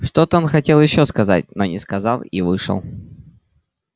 что-то он хотел ещё сказать но не сказал и вышел